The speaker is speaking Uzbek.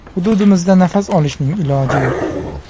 Hududimizda nafas olishning iloji yo‘q.